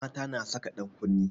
Mata na saka ɗan kunne